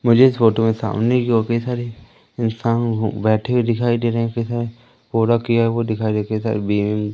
मुझे इस फोटो में सामने की ओर कई सारे इंसान हूं बैठे हुए दिखाई दे रहे कई सारे पूरा किया वो दिखाई दे रहे कई सारे बी--